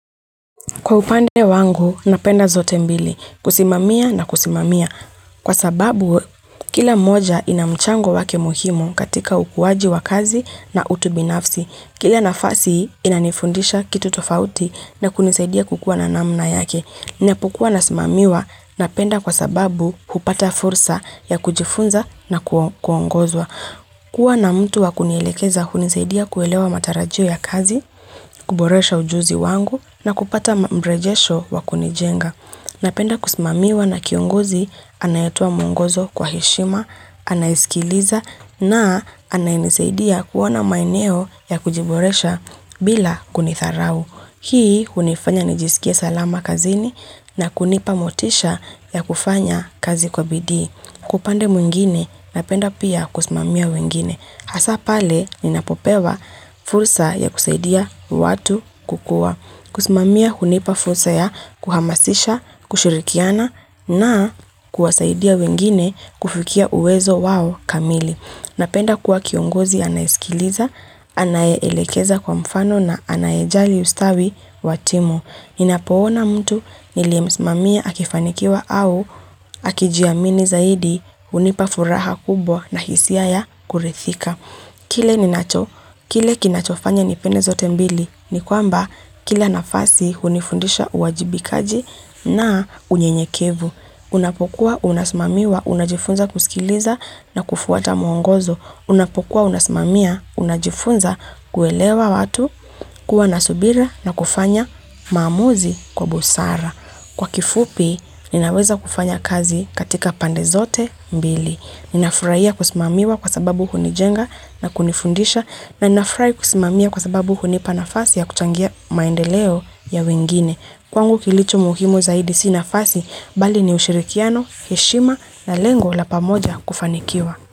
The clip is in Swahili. Kwa upande wangu, napenda zote mbili. Kusimamia na kusimamia. Kwa sababu, kila moja ina mchango wake muhimu katika ukuwaji wa kazi na utu binafsi. Kila nafasi inanifundisha kitu tofauti na kunisaidia kukuwa na namna yake. Ninapokua nasimamiwa napenda kwa sababu hupata fursa ya kujifunza na kuongozwa. Kuwa na mtu wakunielekeza hunisaidia kuelewa matarajio ya kazi, kuboresha ujuzi wangu na kupata mrejesho wakunijenga. Napenda kusimamiwa na kiongozi anayetoa muongozo kwa heshima, anaiskiliza na anainisaidia kuona maeneo ya kujiboresha bila kunidharau. Hii hunifanya nijisikie salama kazini na kunipa motisha ya kufanya kazi kwa bidii. Kwa upande mwingine napenda pia kusimamia wengine. Hasa pale ninapopewa fursa ya kusaidia watu kukua. Kusimamia hunipa fursa ya kuhamasisha, kushirikiana na kuwasaidia wengine kufikia uwezo wao kamili. Napenda kuwa kiongozi anayesikiliza, anayeelekeza kwa mfano na anayejali ustawi wa timu. Ninapoona mtu niliemsimamia akifanikiwa au akijiamini zaidi hunipa furaha kubwa na hisia ya kuridhika. Kile ninacho, kile kinachofanya nipende zote mbili, ni kwamba kila nafasi hunifundisha uwajibikaji na unyenyekevu. Unapokuwa, unasimamiwa, unajifunza kusikiliza na kufuata mwongozo. Unapokuwa, unasimamia, unajifunza kuelewa watu, kuwa na subira na kufanya maamuzi kwa busara. Kwa kifupi, ninaweza kufanya kazi katika pandezote mbili. Ninafurahia kusimamiwa kwa sababu hunijenga na kunifundisha na ninafurahi kusimamia kwa sababu hunipa nafasi ya kuchangia maendeleo ya wengine. Kwangu kilicho muhimu zaidi si nafasi, bali ni ushirikiano, heshima na lengo la pamoja kufanikiwa.